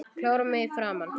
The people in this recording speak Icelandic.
Klórar mig í framan.